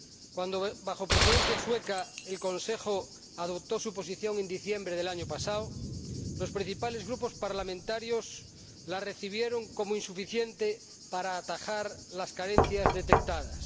Cuando bajo Presidencia sueca el Consejo adoptó su posición, en diciembre del año pasado, los principales grupos parlamentarios la recibieron como insuficiente para atajar las carencias detectadas.